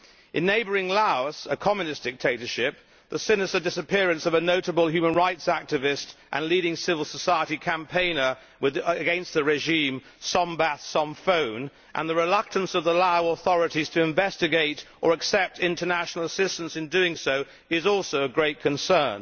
In neighbouring Laos a communist dictatorship the sinister disappearance of the notable human rights activist and leading civil society campaigner against the regime, Sombath Somphone, and the reluctance of the Lao authorities to investigate, or to accept international assistance to do so, is also of great concern.